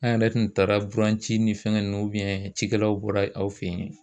An yɛrɛ tun taara buranci ni fɛnkɛ ninnu cikɛlaw bɔra aw fɛ yen